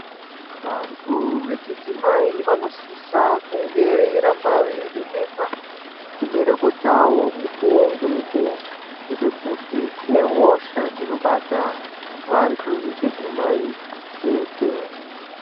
Vanthu vechidzimai vanosisa kunge veiramba veivhenekwa chibereko chavo mukuwo ngemukuwo ngekuti kune hosha dzinobata vanthu vechidzimai chete.